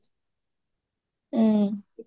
ହୁଁ